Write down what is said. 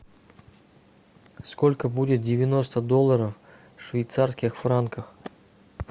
сколько будет девяносто долларов в швейцарских франках